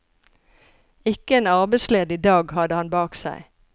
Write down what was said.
Ikke en arbeidsledig dag hadde han bak seg.